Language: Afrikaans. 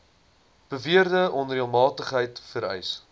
beweerde onreëlmatigheid vereis